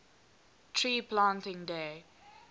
tree planting day